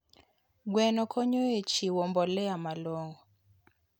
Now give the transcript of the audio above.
Gweno konyo e chiwo mbolea malong'o.